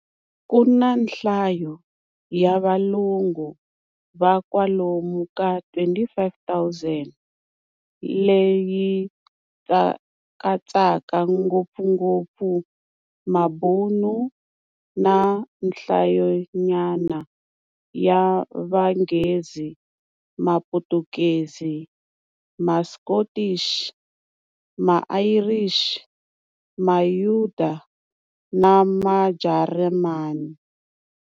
Kuna nhlayo ya valungu va kwalomu ka 25 000, leyi katsaka ngopfungopfu Mabhunu, na nhlayonyana ya Vanghezi, Maphutukezi, Maskothi, ma Ayirixi, Mayuda na Majarimani.